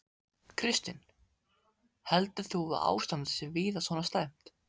Kristinn: Heldur þú að ástandið sé víða svona slæmt?